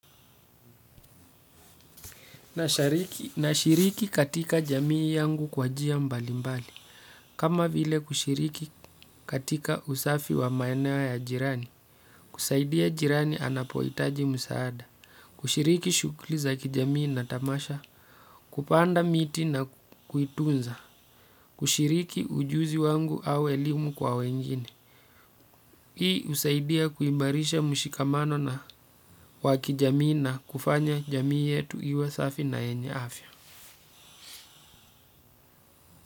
Nashiriki katika jamii yangu kwa njia mbali mbali. Kama vile kushiriki katika usafi wa maeneo ya jirani. Kusaidia jirani anapohitaji msaada. Kushiriki shughuli za kijamii na tamasha. Kupanda miti na kuitunza. Kushiriki ujuzi wangu au elimu kwa wengine. Hii husaidia kuimarisha mshikamano na wa kijamii na kufanya jamii yetu iwe safi na yenye afya.